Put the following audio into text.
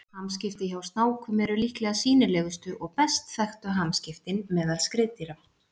Hamskipti hjá snákum eru líklega sýnilegustu og best þekktu hamskiptin meðal skriðdýra.